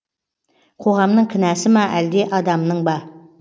қоғамның кінәсі ма әлде адамның ба